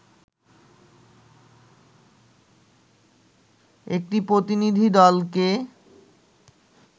একটি প্রতিনিধি দলকে